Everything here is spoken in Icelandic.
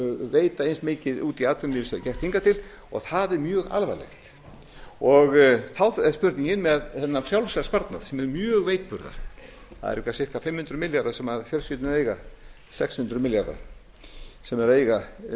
veita eins mikið út í atvinnulífið og þeir hafa gert hingað til og það er mjög alvarlegt þá er spurningin með hinn frjálsa sparnað sem er mjög veikburða það eru eitthvað ca fimm hundruð til sex hundruð milljarðar sem fjölskyldurnar eiga